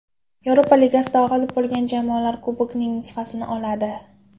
Yevropa Ligasida g‘olib bo‘lgan jamoalar kubokning nusxasini oladi.